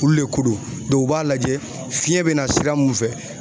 Olu le ko don , u b'a lajɛ fiɲɛ be na sira mun fɛ